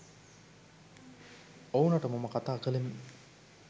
ඔවුනට මම කතා කලෙමි